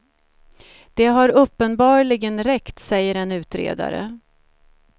Det har uppenbarligen räckt, säger en utredare.